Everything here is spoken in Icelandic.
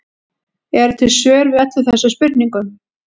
Eru til svör við öllum þessum spurningum?